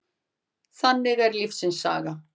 Þannig er lífsins saga.